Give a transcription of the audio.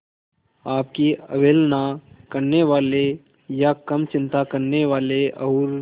आपकी अवहेलना करने वाले या कम चिंता करने वाले और